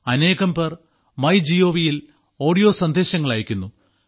അനേകം പേർ മൈ ഗോവ് യിൽ ഓഡിയോ സന്ദേശങ്ങൾ അയക്കുന്നു